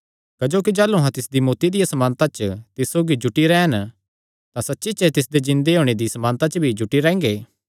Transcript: क्जोकि जाह़लू अहां तिसदी मौत्ती दिया समानता च तिस सौगी जुटी रैह़न तां सच्ची च तिसदे जिन्दे होणे दिया समानता च भी जुटी रैंह्गे